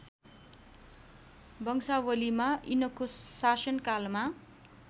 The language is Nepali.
वंशावलीमा यिनको शासनकालमा